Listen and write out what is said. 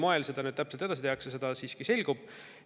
Mil moel seda nüüd täpselt edasi tehakse, see selgub.